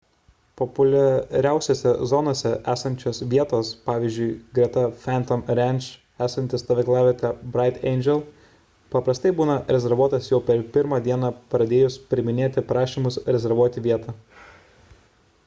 populiariausiose zonose esančios vietos pvz. greta phantom ranch esanti stovyklavietė bright angel paprastai būna rezervuotos jau per pirmą dieną pradėjus priiminėti prašymus rezervuoti vietą